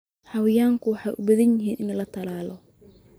Xayawaanku waxay u baahan yihiin in la tallaalo.